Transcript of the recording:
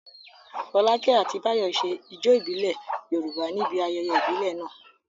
Fọlákẹ́ àti Báyọ̀ ṣe ijó ìbílẹ̀ Yorùbá níbi ayẹyẹ ìbílẹ̀ náà.